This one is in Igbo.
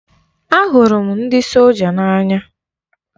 A hụrụ m ndị solja n'anya.